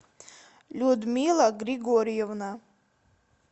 людмила григорьевна